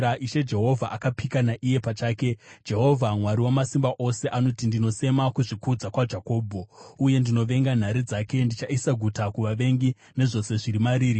Ishe Jehovha akapika naiye pachake, Jehovha Mwari Wamasimba Ose anoti, “Ndinosema kuzvikudza kwaJakobho, uye ndinovenga nhare dzake; ndichaisa guta kuvavengi nezvose zviri mariri.”